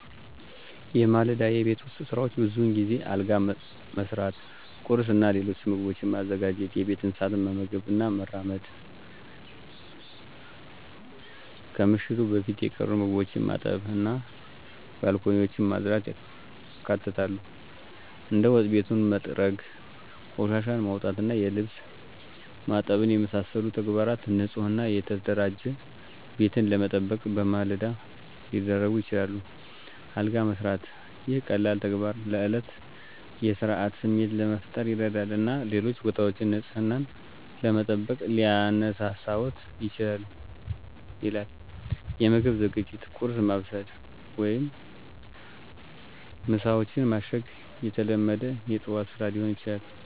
የማለዳ የቤት ውስጥ ሥራዎች ብዙውን ጊዜ አልጋ መሥራት፣ ቁርስ እና ሌሎች ምግቦችን ማዘጋጀት፣ የቤት እንስሳትን መመገብ እና መራመድ፣ ከምሽቱ በፊት የቀሩ ምግቦችን ማጠብ እና ባንኮኒዎችን ማጽዳትን ያካትታሉ። እንደ ወጥ ቤቱን መጥረግ፣ ቆሻሻን ማውጣት እና የልብስ ማጠብን የመሳሰሉ ተግባራት ንፁህ እና የተደራጀ ቤትን ለመጠበቅ በማለዳ ሊደረጉ ይችላሉ። አልጋ መስራት - ይህ ቀላል ተግባር ለእለቱ የሥርዓት ስሜት ለመፍጠር ይረዳል እና ሌሎች ቦታዎችን ንፅህናን ለመጠበቅ ሊያነሳሳዎት ይችላል ይላል። የምግብ ዝግጅት - ቁርስ ማብሰል ወይም ምሳዎችን ማሸግ የተለመደ የጠዋት ስራ ሊሆን ይችላል።